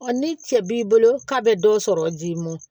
ni cɛ b'i bolo k'a bɛ dɔ sɔrɔ ji mɔn